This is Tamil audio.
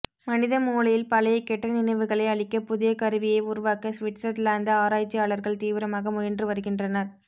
மனித மூளையில் பழைய கெட்ட நினைவுகளை அழிக்க புதிய கருவியை உருவாக்க ஸ்விட்சர்லாந்து ஆராய்ச்சியாளர்கள் தீவிரமாக முயன்று வருகின்றனர்